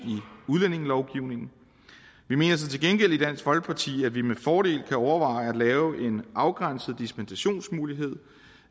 udlændingelovgivningen vi mener til gengæld i dansk folkeparti at vi med fordel kan overveje at lave en afgrænset dispensationsmulighed